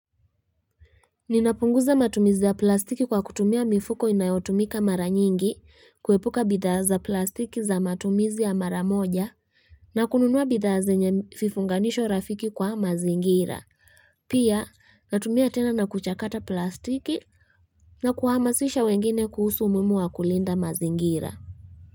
Ninapunguza matumizi za plastiki kwa kutumia mifuko inayotumika mara nyingi kuepuka bidha za plastiki za matumizi ya mara moja na kununua bidaza nye fifunganisho rafiki kwa mazingira. Pia natumia tena na kuchakata plastiki na kuhamasisha wengine kuhusu umuhimu wa kulinda mazingira.